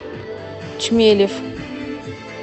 чмелев